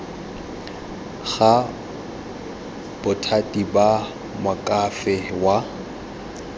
ga bothati ba moakhaefe wa